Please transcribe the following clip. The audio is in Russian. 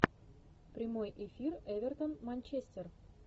прямой эфир эвертон манчестер